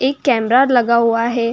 एक कैमरा लगा हुआ है।